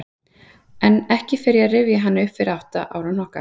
En ekki fer ég að rifja hana upp fyrir átta ára hnokka.